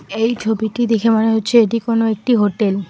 এই ছবিটি দেখে মনে হচ্ছে এটি কোনো একটি হোটেল ।